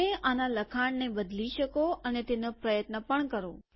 તમે આના લખાણને બદલી શકો અને તેનો પ્રયત્ન પણ કરો